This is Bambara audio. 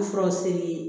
furaw selen